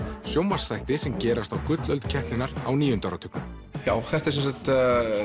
sjónvarpsþætti sem gerast á gullöld keppninnar á níunda áratugnum þetta er